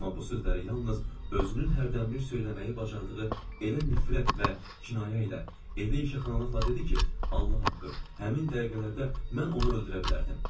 Amma bu sözləri yalnız özünün hərdənbir söyləməyi bacardığı elə nifrət və kinayə ilə, elə yığışqanılıqla dedi ki, Allah haqqı, həmin dəqiqələrdə mən onu öldürə bilərdim.